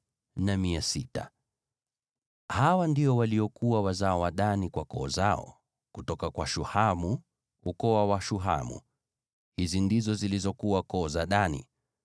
Hawa ndio waliokuwa wazao wa Dani kwa koo zao: kutoka kwa Shuhamu, ukoo wa Washuhamu. Hizi ndizo zilizokuwa koo za Dani: